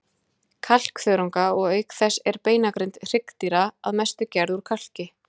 kalkþörunga, og auk þess er beinagrind hryggdýra að mestu gerð úr kalki.